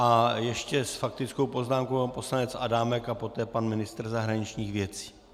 A ještě s faktickou poznámkou pan poslanec Adámek a poté pan ministr zahraničních věcí.